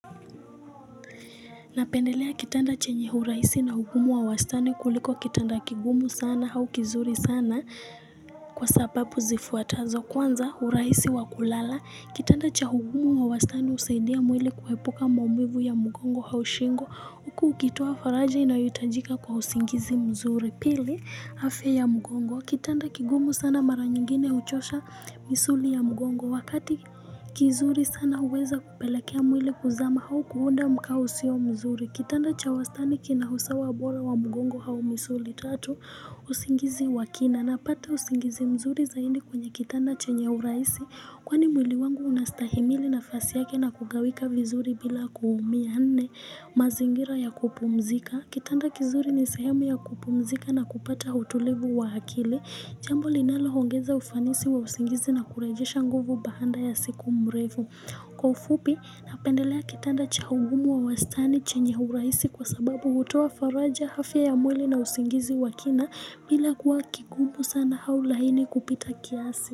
Napendelea kitanda chenye urahisi na ugumu wa wastani kuliko kitanda kigumu sana au kizuri sana kwa sababu zifuatazo kwanza urahisi wa kulala. Kitanda cha ugumu wa wastani husaidia mwili kuepuka maumivu ya mgongo au shingo. Huku ukitoa faraja inayohitajika kwa usingizi mzuri. Pili afya ya mgongo. Kitanda kigumu sana mara nyingine huchosha misuli ya mgongo. Wakati kizuri sana huweza kupelekea mwili kuzama au kuunda mkao usio mzuri. Kitanda cha wastani kina usawa bora wa mgongo au misuli. Tatu usingizi wa kina. Napata usingizi mzuri zaidi kwenye kitanda chenye urahisi. Kwani mwili wangu unastahimili nafasi yake na kugawika vizuri bila kuumia nne mazingira ya kupumzika. Kitanda kizuri ni sehemu ya kupumzika na kupata utulivu wa akili. Jambo linaloongeza ufanisi wa usingizi na kurejesha nguvu baada ya siku mrefu. Kwa ufupi napendelea kitanda cha ugumu wa wastani chenye urahisi kwa sababu hutoa faraja afya ya mwili na usingizi wa kina. Bila kuwa kigumu sana au laini kupita kiasi.